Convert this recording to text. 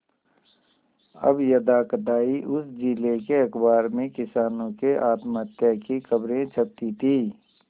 अब यदाकदा ही उस जिले के अखबार में किसानों के आत्महत्या की खबरें छपती थी